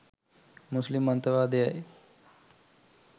මුස්ලිම් අන්තවාදයයි.